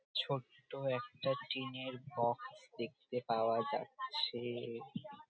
ছোট্ট একটা টিন এর ঘর দেখতে পাওয়া যাচ্ছেএ।